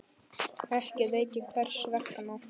Ekki veit ég hvers vegna.